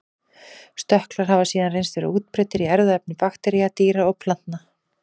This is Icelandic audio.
Stökklar hafa síðan reynst vera útbreiddir í erfðaefni baktería, dýra og plantna.